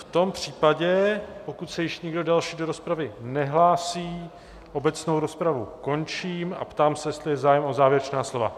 V tom případě pokud se již nikdo další do rozpravy nehlásí, obecnou rozpravu končím a ptám se, jestli je zájem o závěrečná slova.